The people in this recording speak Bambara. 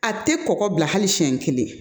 A tɛ kɔkɔ bila hali siɲɛ kelen